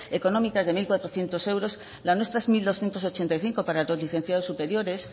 económicas de mil cuatrocientos euros la nuestra es mil doscientos ochenta y cinco para los licenciados superiores